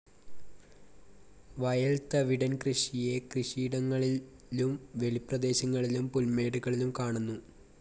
വയൽ തവിടൻ കൃഷിയെ കൃഷിയിടങ്ങളിലും വെളിപ്രദേശങ്ങളിലും പുൽമേടുകളിലും കാണുന്നു.